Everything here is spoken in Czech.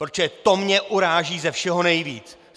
Protože to mě uráží ze všeho nejvíc!